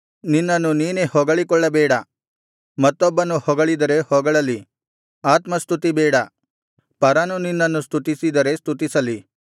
ನಿನ್ನನ್ನು ನೀನೇ ಹೊಗಳಿಕೊಳ್ಳಬೇಡ ಮತ್ತೊಬ್ಬನು ಹೊಗಳಿದರೆ ಹೊಗಳಲಿ ಆತ್ಮಸ್ತುತಿ ಬೇಡ ಪರನು ನಿನ್ನನ್ನು ಸ್ತುತಿಸಿದರೆ ಸ್ತುತಿಸಲಿ